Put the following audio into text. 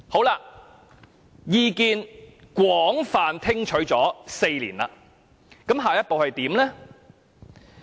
那麼，在廣泛聽取意見4年後，下一步又怎樣呢？